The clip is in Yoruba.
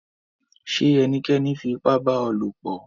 Ṣé ènìkẹ́ní fi ìpà bá ọ lọ̀pọ̀?